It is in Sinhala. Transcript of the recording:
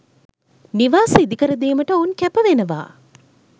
නිවාස ඉදිකරදීමට ඔවුන් කැපවෙනවා